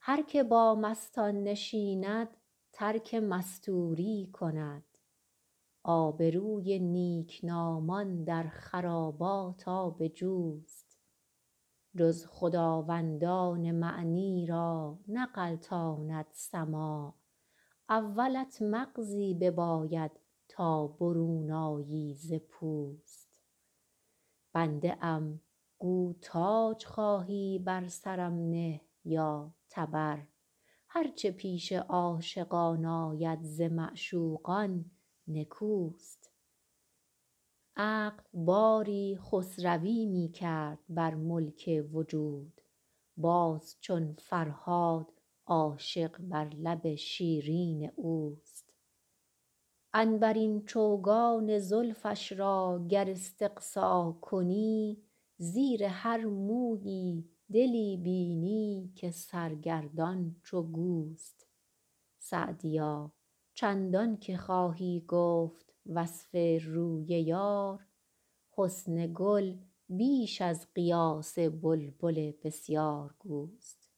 هر که با مستان نشیند ترک مستوری کند آبروی نیکنامان در خرابات آب جوست جز خداوندان معنی را نغلطاند سماع اولت مغزی بباید تا برون آیی ز پوست بنده ام گو تاج خواهی بر سرم نه یا تبر هر چه پیش عاشقان آید ز معشوقان نکوست عقل باری خسروی می کرد بر ملک وجود باز چون فرهاد عاشق بر لب شیرین اوست عنبرین چوگان زلفش را گر استقصا کنی زیر هر مویی دلی بینی که سرگردان چو گوست سعدیا چندان که خواهی گفت وصف روی یار حسن گل بیش از قیاس بلبل بسیارگوست